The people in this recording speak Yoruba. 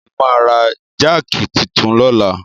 Mo máa ra jáàkì titun lọ́la.